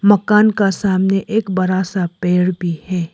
मकान का सामने एक बड़ा सा पेड़ भी है।